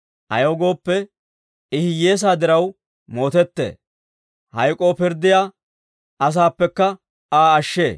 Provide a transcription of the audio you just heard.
Ayaw gooppe, I hiyyeesaa diraw mootettee; hayk'k'oo pirddiyaa asaappekka Aa ashshee.